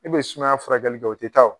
I be sumaya furakɛli dɔ o te taa o